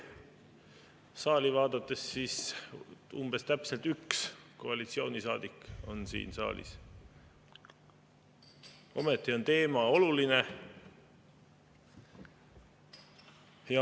Kui saali vaadata, siis umbes-täpselt üks koalitsioonisaadik on siin saalis, ometi on teema oluline.